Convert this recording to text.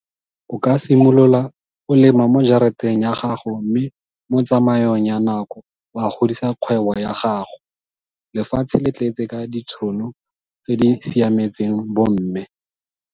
O ka simolola o lema mo jarateng ya gago mme mo tsamaong ya nako wa godisa kgwebo ya gago. Lefatshe le tletse ka ditšhono tse di siametseng bomme.